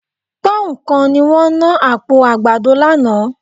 Pọ́nhùn kan ni wọ́n ná àpò àgbàdo lánàá